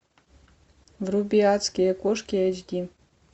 вруби адские кошки эйч ди